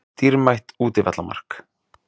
Dýrmætt útivallarmark.